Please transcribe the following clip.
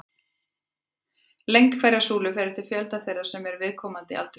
Lengd hverrar súlu fer eftir fjölda þeirra sem eru í viðkomandi aldurshópi.